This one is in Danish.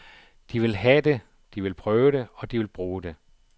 De vil have det, de vil prøve det, og de vil bruge det.